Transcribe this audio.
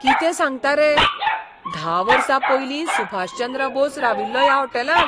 कितें सांगता, रे? धा वर्सा पयलीं सुभाषचंद्र बोस राविल्लो ह्या होटॅलांत?